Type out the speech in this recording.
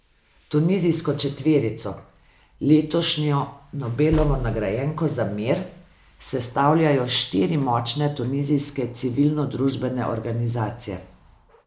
Tunizijsko četverico, letošnjo Nobelovo nagrajenko za mir, sestavljajo štiri močne tunizijske civilnodružbene organizacije.